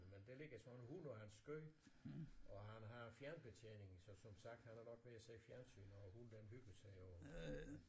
Men der ligger så en hund på hans skød og han har fjernbetjeningen så som sagt han er nok ved at se fjernsyn og hunden den hygger sig og